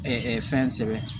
fɛn sɛbɛn